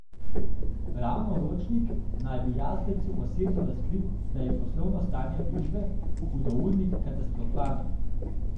Ravno Ročnik naj bi Jazbecu osebno razkril, da je poslovno stanje družbe Hudournik katastrofalno.